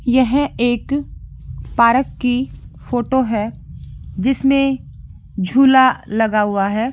यह एक पार्क की फोटो है जिसमें झुला लगा हुआ है ।